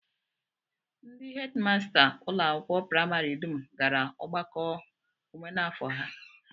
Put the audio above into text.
Ndị hedịmasta ụlọakwụkwọ praịmarị dum gara ọgbakọ omenafọ ha